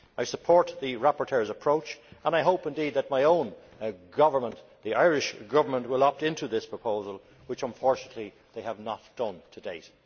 I support the rapporteur's approach and I hope that my own government, the Irish Government, will opt into this proposal, which unfortunately it has not done to date.